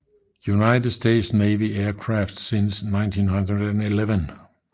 United States Navy Aircraft since 1911